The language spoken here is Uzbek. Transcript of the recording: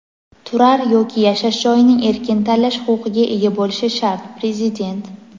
turar yoki yashash joyini erkin tanlash huquqiga ega bo‘lishi shart – Prezident.